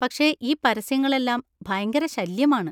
പക്ഷെ ഈ പരസ്യങ്ങളെല്ലാം ഭയങ്കര ശല്യമാണ്.